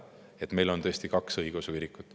Nii et meil on praegu tõesti kaks õigeusu kirikut.